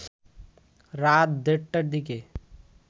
রাত দেড়টার দিকে